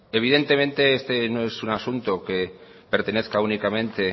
evidentemente este no es un asunto que pertenezca únicamente